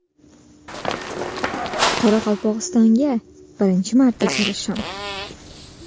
Qoraqalpog‘istonga birinchi marta kelishim.